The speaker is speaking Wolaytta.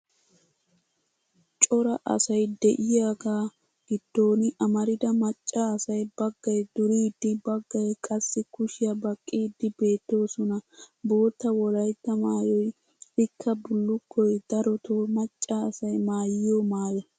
Cora asay de'iyaagaa giddon amarida macca asay baggay duriiddi baggay qassi kushiya baqqiiddi beettoosona. Bootta wolaytta maayoy ikka bullukkoy darotoo macca asay maayiyo maayo.